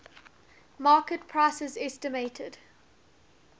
market prices estimated